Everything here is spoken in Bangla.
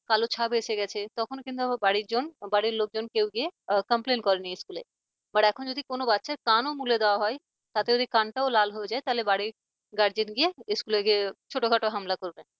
কালো ছাপ এসে গেছে, তখনো কিন্তু বাড়ির জন লোকজন কেউ গিয়ে complain করেনি school এ but এখন যদি কোন বাচ্চার কান ও মূলা দেওয়া হয় তাতে যদি কানটাও লাল হয়ে যায় তাহলে বাড়ির guardian গিয়ে school গিয়ে ছোটখাটো হামলা করবে